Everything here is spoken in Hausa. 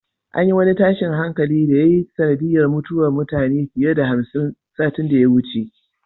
An yi wani tashin hankali da ya yi sanadiyar mutuwar mutane fiye da hamsin satin da ya wuce.